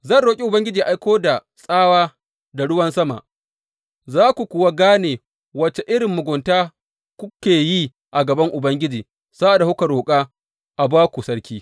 Zan roƙi Ubangiji yă aiko da tsawa da ruwan sama, za ku kuwa gane wace irin mugunta kuka yi a gaban Ubangiji sa’ad da kuka roƙa a ba ku sarki.